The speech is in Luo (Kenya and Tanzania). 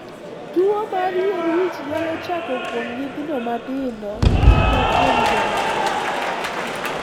Tuwo mar yier wich nyalo chako kuom nyithindo matindo, kata kuom joma dongo.